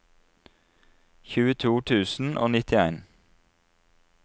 tjueto tusen og nittien